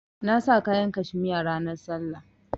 Na sa kayan cashmere ranan sallah.